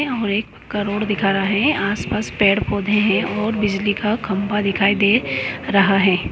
एक करोड़ दिखा रहा है आसपास पेड़ पौधे है और बिजली का खंबा दिखाई दे रहा है।